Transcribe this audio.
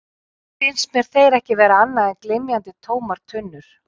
Nú fannst mér þeir ekki vera annað en glymjandi, tómar tunnur.